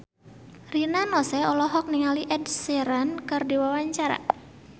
Rina Nose olohok ningali Ed Sheeran keur diwawancara